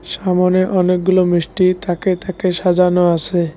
সামনে অনেক গুলো মিষ্টি থাকে থাকে সাজানো আছে।